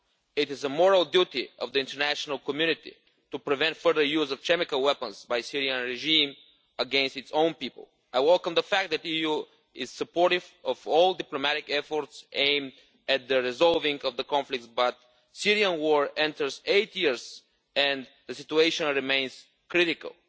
It is the moral duty of the international community to prevent further use of chemical weapons by the Syrian regime against its own people. I welcome the fact that the EU is supportive of all diplomatic efforts aimed at the resolving of the conflict, but the Syrian war enters its eight year and the situation remains critical.